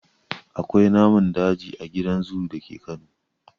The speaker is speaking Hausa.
Akwai namun daji a gidan zoo dake Kano.